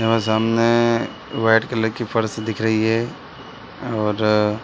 वहाँ सामने white colour की फर्श दिख रही है और --